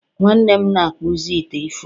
nwanne m na-akpụzi ite ifuru